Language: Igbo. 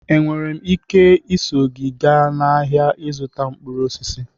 Enwere m ike iso gị gaa ahịa ịzụta mkpụrụ osisi?